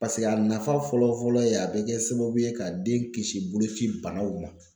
Paseke a nafa fɔlɔ fɔlɔ ye a bɛ kɛ sababu ye ka den kisi boloci banaw ma.